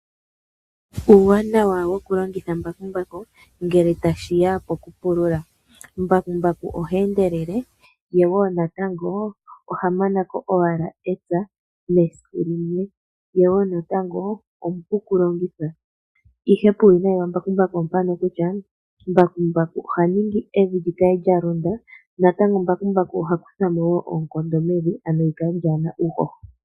Uuwanawa woku longitha mbakumbaku ngele tashi ya ko kupulula. Mbakumbaku oha endelele ye woo natango oha manako owala epya mesiku limwe, ye woo natango omupu oku longithwa, ihe puuwinayi wambakumbaku opo mpano kutya mbakumbaku oha ningi evi likale lya londa ye natango mbakumbaku oha kuthamo woo oonkondo mevi ano likale ka lina uuhoho.